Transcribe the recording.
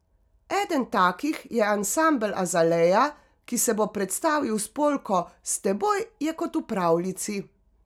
Eden takih je ansambel Azalea, ki se bo predstavil s polko S teboj je kot v pravljici.